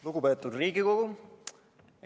Lugupeetud Riigikogu!